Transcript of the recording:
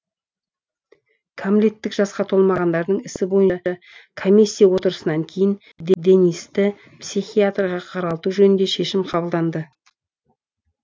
кәмелеттік жасқа толмағандардың ісі бойынша комиссия отырысынан кейін денисті психиатрға қаралту жөнінде шешім қабылданды